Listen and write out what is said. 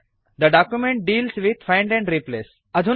the document deals with find and replace